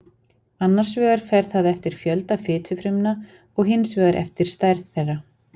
Annars vegar fer það eftir fjölda fitufrumna og hins vegar eftir stærð þeirra.